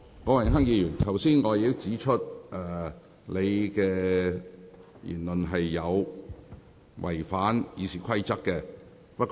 郭榮鏗議員，我剛才已指出你的言論違反了《議事規則》。